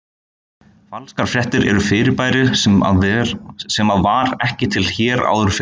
Falskar fréttir er fyrirbæri sem að var ekki til hér áður fyrr.